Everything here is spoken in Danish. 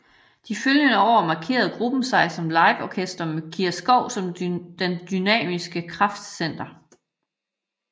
De følgende år markerede gruppen sig som liveorkester med Kira Skov som det dynamiske kraftcenter